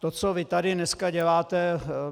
To, co vy tady dneska děláte...